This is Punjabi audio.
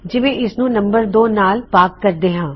ਜਿਵੇਂ ਇਸ ਨੂੰ ਨਮ2 ਨਾਲ ਭਾਗ ਕਰਦੇ ਹਾਂ